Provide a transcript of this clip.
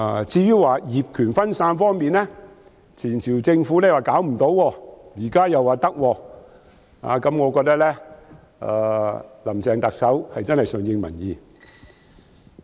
至於業權分散方面，上屆政府說無法可施，現在卻說可以，我覺得特首真的是順應民意。